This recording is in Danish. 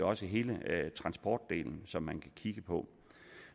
også hele transportdelen som man kan kigge på